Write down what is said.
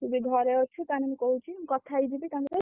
ତୁ ବି ଘରେ ଅଛୁ ତାହେଲେ ମୁଁ କହୁଚି ମୁଁ କଥା ହେଇଯିବି ତାଙ୍କ ସହ।